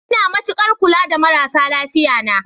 Ina matukar kula da marasa lafiya na.